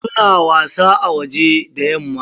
Su na wasa a waje da yamma.